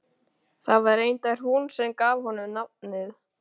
Það var reyndar hún sem gaf honum nafnið.